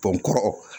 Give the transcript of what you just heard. kɔrɔ